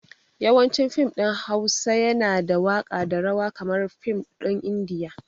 Yawancin fim ɗin Hausa yana da waka da rawa kamar fim ɗin indiya